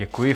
Děkuji.